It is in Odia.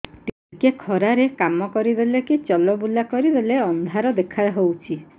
ଟିକେ ଖରା ରେ କାମ କରିଦେଲେ କି ଚଲବୁଲା କରିଦେଲେ ଅନ୍ଧାର ଦେଖା ହଉଚି